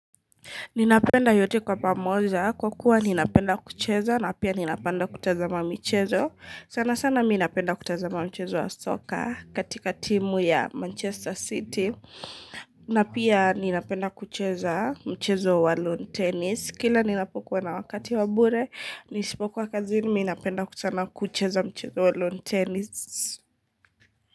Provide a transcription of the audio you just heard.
Ninapenda yote kwa pamoja. Kwa kuwa ninapenda kucheza na pia ninapenda kutazama mchezo. Sana sana mimi napenda kutazama mchezo wa soka katika timu ya Manchester City. Na pia ninapenda kucheza mchezo wa lone tennis. Kila ninapokuwa na wakati wa bure, nisipokuwa kazini, mimi napenda kutazama kucheza mchezo wa long tennis.